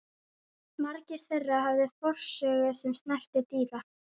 Margir þeirra höfðu forsögu sem snerti dýra